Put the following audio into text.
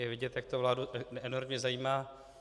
Je vidět, jak to vládu enormně zajímá.